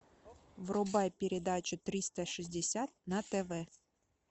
врубай передачу триста шестьдесят на тв